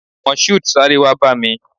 Moshood, sáré wá bá mi!